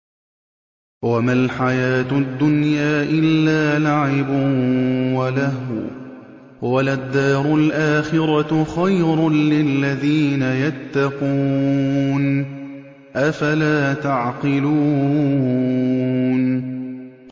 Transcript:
وَمَا الْحَيَاةُ الدُّنْيَا إِلَّا لَعِبٌ وَلَهْوٌ ۖ وَلَلدَّارُ الْآخِرَةُ خَيْرٌ لِّلَّذِينَ يَتَّقُونَ ۗ أَفَلَا تَعْقِلُونَ